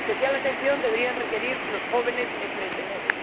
Especial atención debería prestarse a los jóvenes emprendedores.